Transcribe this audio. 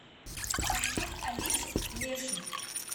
поставь алису леший